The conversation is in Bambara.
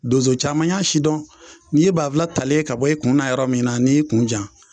Donso caman y'a sidɔn n'i ye banfula talen ye ka bɔ i kun na yɔrɔ min na n'i y'i kun jan